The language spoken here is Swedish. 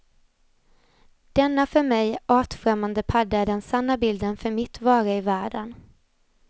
Denna för mig artfrämmande padda är den sanna bilden för mitt vara i världen.